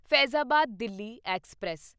Faizabad Delhi express